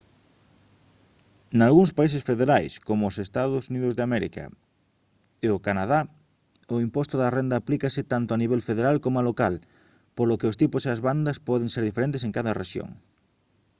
nalgúns países federais como os eua e o canadá o imposto da renda aplícase tanto a nivel federal coma local polo que os tipos e as bandas poden ser diferentes en cada rexión